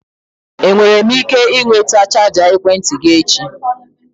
Enwere m ike ịnweta chaja ekwentị gị echi?